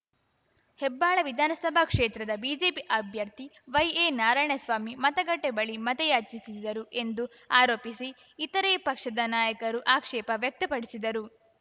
ಹೆಬ್ಬಾಳ ವಿಧಾನಸಭಾ ಕ್ಷೇತ್ರದ ಬಿಜೆಪಿ ಅಭ್ಯರ್ಥಿ ವೈಎನಾರಾಯಣಸ್ವಾಮಿ ಮತಗಟ್ಟೆಬಳಿ ಮತಯಾಚಿಸಿದರು ಎಂದು ಆರೋಪಿಸಿ ಇತರೆ ಪಕ್ಷದ ನಾಯಕರು ಆಕ್ಷೇಪ ವ್ಯಕ್ತಪಡಿಸಿದರು